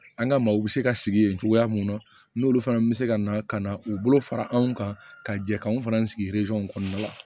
An ka maaw bɛ se ka sigi yen cogoya mun na n'olu fana bɛ se ka na ka na u bolo fara anw kan ka jɛ k'anw fana sigi kɔnɔna la